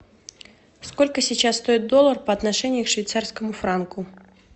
сколько сейчас стоит доллар по отношению к швейцарскому франку